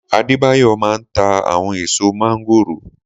Adébáyọ̀ maa ń ta àwọn ẹ̀ẹ̀so mángórò